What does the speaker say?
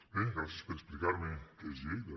bé gràcies per explicar me què és lleida